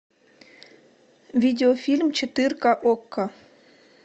видео фильм четырка окко